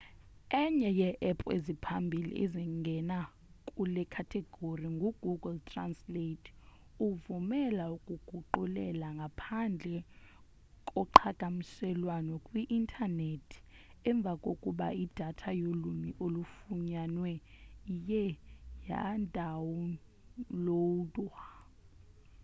enye yee-app eziphambili ezingena kule khategori ngu-google translate evumela ukuguqulela ngaphandle koqhagamshelwano kwi-intanethi emva kokuba idatha yolwimi olufunwayo iye yadawunlowudwa